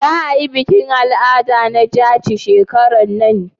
za a yi bikin al'ada na jaci shekaran nan?